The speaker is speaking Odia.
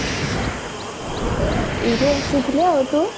ଏଇ ବସିଥିଲି ଆଉ ତୁ